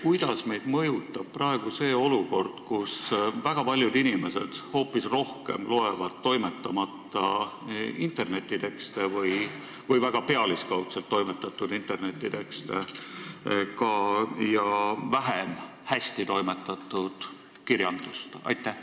Kuidas meid mõjutab praegu see olukord, kus väga paljud inimesed hoopis rohkem loevad toimetamata või väga pealiskaudselt toimetatud internetitekste ja palju vähem hästi toimetatud kirjandust?